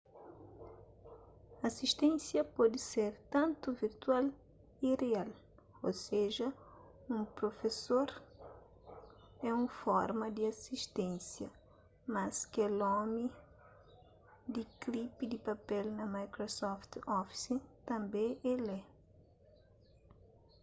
aisténsia pode ser tantu virtual y rial ô seja un profesor é un forma di asisténcia mas kel omi di klipi di papel na microsoft office tanbê el é